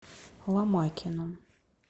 ломакину